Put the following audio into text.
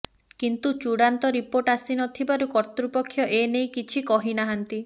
କିନ୍ତୁ ଚୂଡ଼ାନ୍ତ ରିପୋର୍ଟ ଆସିନଥିବାରୁ କର୍ତ୍ତୃପକ୍ଷ ଏନେଇ କିଛି କହିନାହାନ୍ତି